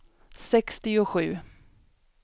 sextiosju